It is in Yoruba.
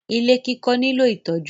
Ilé kíkọ́ nílò ìtọ́jú.